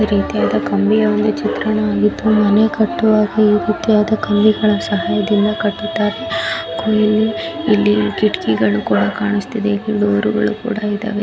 ಇದು ಒಂದು ಕಲ್ಲಿನ ಚಿತ್ರಣವಾಗಿದ್ದು ಮನೆ ಕಟ್ಟುವಾಗ ಈ ರೀತಿಯ ಕಂಬಿಯ ಸಹಾಯದಿಂದ ಕಟ್ಟುತ್ತಾರೆ ಕುಯಲಿ ಇಲ್ಲಿ ಕಿಟಕಿಗಳು ಕೂಡ ಕಾಣಸ್ತಿದೆ ಡೋರ್ ಗಳು ಕೂಡ ಇದವೆ.